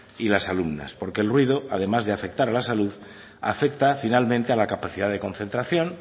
y las alumnas porque el ruido además de afectar a la salud afecta finalmente a la capacidad de concentración